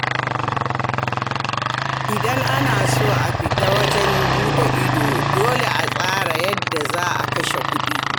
Idan ana so a fita yawon buɗe ido, dole a tsara yadda za a kashe kuɗi.